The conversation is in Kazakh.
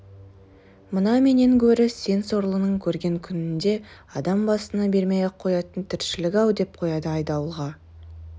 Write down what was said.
мына менен гөрі сен сорлының көрген күнінде адам басына бермей-ақ қоятын тіршілік-ау деп қояды айдауылға